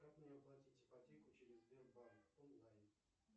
как мне оплатить ипотеку через сбербанк онлайн